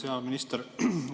Hea minister!